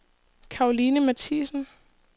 Karoline Matthiesen